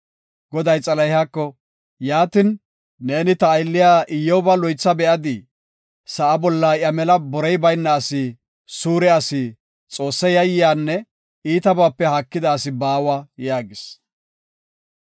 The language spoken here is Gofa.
Goday Xalahiyako, “Yaatin, neeni ta aylliya Iyyoba loytha be7adii? Sa7a bolla iya mela borey bayna asi, suure asi, Xoosse yayyiyanne iitabaape haakida asi baawa” yaagis.